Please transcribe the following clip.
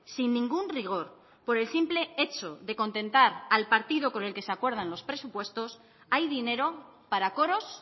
sin ningún rigor por el simple hecho de contentar al partido con el que se acuerdan los presupuestos hay dinero para coros